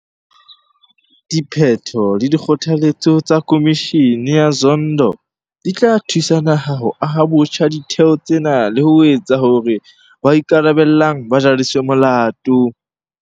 Diphetho le dikgothaletso tsa Khomishene ya Zondo di tla thusa naha ho aha botjha ditheo tsena le ho etsa hore ba ikarabellang ba jariswe molato.